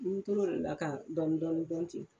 N tor'o la ka dɔɔnin dɔɔnin dɔɔnin ten.